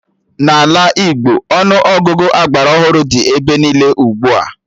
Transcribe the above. N'ala Igbo, Ọnụ Ọgụgụ agbara ọhụrụ dị ebe niile ugbua